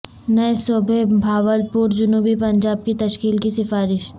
نئے صوبہ بہاولپور جنوبی پنجاب کی تشکیل کی سفارش